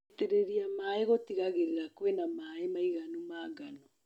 Gũitĩrĩrĩa maĩ gũtigagĩrĩra kwĩna maĩ maiganu ma ngano.